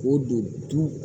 O don du